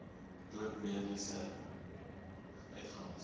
dood mediese uitgawes